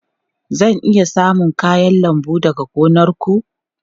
Zan iya samun kayan lambu daga gonar ku?